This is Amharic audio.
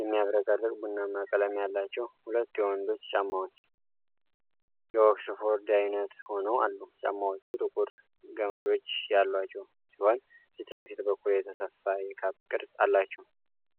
የሚያብረቀርቅ ቡናማ ቀለም ያላቸው ሁለት የወንዶች ጫማዎች፣ የኦክስፎርድ አይነት ሆነው አሉ። ጫማዎቹ ጥቁር ገመዶች ያሏቸው ሲሆን፣ ፊት ለፊት በኩል የተሰፋ የካፕ ቅርጽ አላቸው።